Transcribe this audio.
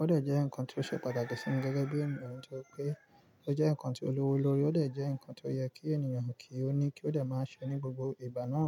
Ó de jẹ́ nǹkan tó ṣe pàtàkì sí mi gẹ́gẹ́ bí ènìyàn torí pé ó jẹ́ nǹkan tó lówó lórí, ó de jẹ́ nǹkan tó yẹ kí ènìyàn kí ó ní kí ó de máa ṣe ní gbogbo ìgbà náà.